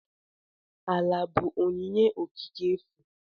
Ala bụ onyinye okike efu.